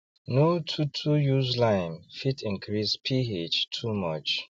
no too too use limee fit increase ph too much